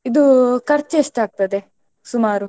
ಇದು ಖರ್ಚ್ ಎಸ್ಟಾತ್ಗದೇ ಸುಮಾರು?